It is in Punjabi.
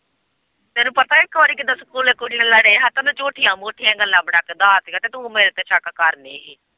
ਤੈਨੂੰ ਪਤਾ ਇੱਕ ਵਾਰੀ ਕਿੱਦਾ ਤੂੰ ਸਕੂਲੇ ਕੁੜੀ ਨਾਲ਼ ਲੜੇ ਹੀ ਤੇ ਉਹਨੇ ਝੂਠੀਆਂ-ਮੂਠੀਆਂ ਗੱਲਾਂ ਬਣਾ ਕੇ ਧਾਰ ਲਈਆਂ ਤੇ ਤੂੰ ਮੇਰੇ ਤੇ ਸ਼ੱਕ ਕਰਦੀ ਹੀ।